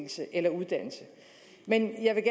men jeg